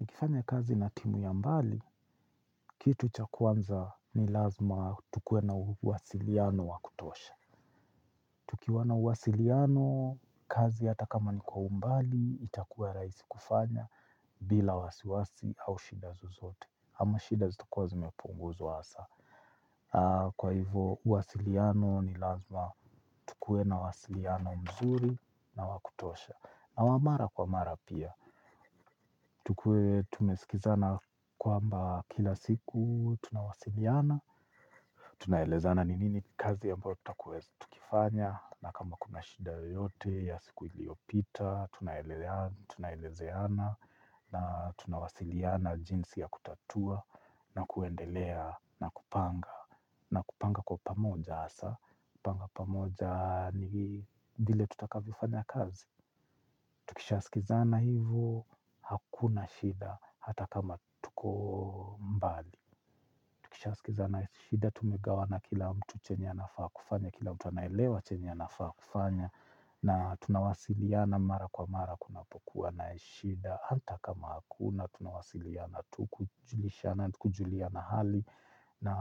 Nikifanya kazi na timu ya mbali, kitu cha kwanza ni lazima tukue na uwasiliano wa kutosha. Tukiwa na uwasiliano, kazi hata kama ni kwa umbali, itakua rahisi kufanya bila wasiwasi au shida zozote. Ama shida zitakua zimepunguzwa hasa. Kwa hivo, uwasiliano ni lazima tukue na uwasiliano mzuri na wa kutosha. Na wa mara kwa mara pia. Tukue tumesikizana kwamba kila siku tunawasiliana, tunaelezana ni nini kazi ya ambayo tutakua tukifanya, na kama kuna shida yoyote ya siku iliyopita, tunaelezeana na tunawasiliana jinsi ya kutatua na kuendelea na kupanga, na kupanga kwa pamoja hasa, panga pamoja ni vile tutakavyofanya kazi. Tukishasikizana hivo hakuna shida hata kama tuko mbali. Tukiishasikizana shida tumegawana kila mtu chenye anafaa kufanya, kila mtu anaelewa chenye anafaa kufanya na tunawasiliana mara kwa mara kunapokuwa na shida. Hata kama hakuna tunawasiliana tu kujuliana hali na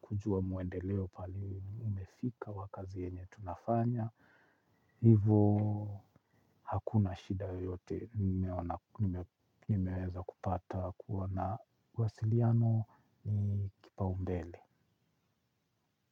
kujua muendeleo pali umefika wa kazi yenye tunafanya. Hivo hakuna shida yoyote nimeweza kupata kuwa na uwasiliano ni kipaumbele.